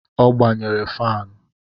O gbanyere fanụ